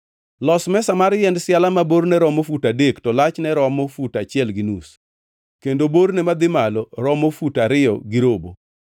“Los mesa mar yiend siala ma borne romo fut adek to lachne romo fut achiel gi nus kendo borne madhi malo romo fut ariyo gi robo.